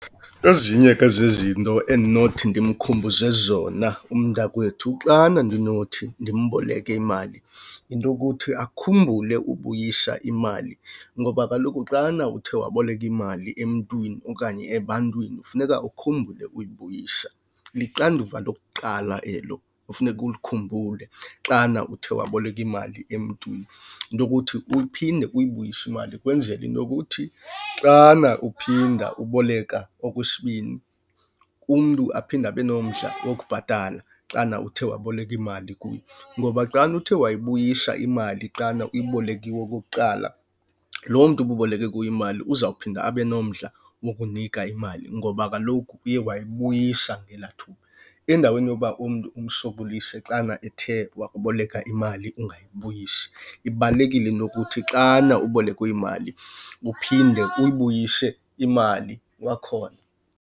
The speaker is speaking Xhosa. Ezinye ke zezizinto endinothi ndimkhumbuze zona umntakwethu xana ndinothi ndimboleke imali yinto yokuthi akhumbule ubuyisa imali. Ngoba kaloku xana uthe waboleka imali emntwini okanye ebantwini, funeka ukhumbule ukuyibuyisa. Lixanduva lokuqala elo ofuneka ulikhumbule xana uthe waboleka imali emntwini. Yinto yokuthi uphinde uyibuyise imali kwenzele into yokuthi xana uphinda uboleka okwesibini, umntu aphinde abe nomdla wokubhatala xana uthe waboleka imali kuye. Ngoba xana uthe wayibuyisa imali xana ubuyibolekiwe okokuqala, loo mntu ububoleke kuye imali uzawuphinda abe nomdla wokunika imali ngoba kaloku uye wayibuyisa ngelaa thuba. Endaweni yoba umntu umsokolise xana ethe wakuboleka imali ungayibuyisi. Ibalulekile into yokuthi xana ubolekwe imali uphinde uyibuyise imali kwakhona.